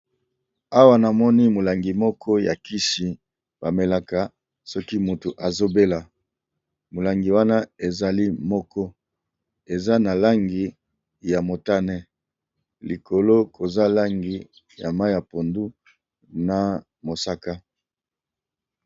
Awa namoni molangi moko ya kisi bamelaka soki moto azobela molangi wana ezali moko eza na langi ya motane likolo koza langi ya mai ya pondu na mosaka.